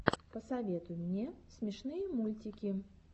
посоветуй мне смешные мультики